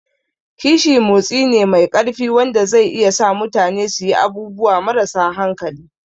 Kishi motsi ne mai ƙarfi wanda zai iya sa mutane su yi abubuwa marasa hankali.